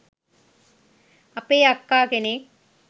අපේ අක්කා කෙනෙක්